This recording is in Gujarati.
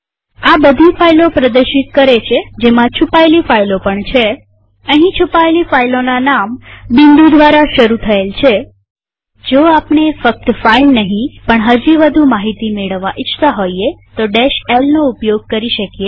આ બધી ફાઈલો પ્રદર્શિત કરે છે જેમાં છુપાયેલી ફાઈલો પણ છેઅહીં છુપાયેલી ફાઈલોના નામ બિંદુ દ્વારા શરુ થયેલ છે જો આપણે ફક્ત ફાઈલ નહીં પણ હજી વધુ માહિતી મેળવવા ઈચ્છતા હોઈએ તો l નો ઉપયોગ કરી શકીએ